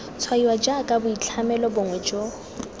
tshwaiwa jaaka boitlhamelo bongwe jo